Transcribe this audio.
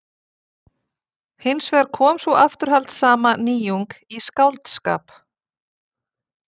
Hins vegar kom sú afturhaldssama nýjung í skáldskap